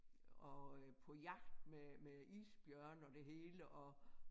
Og øh på jagt med med isbjørne og det hele og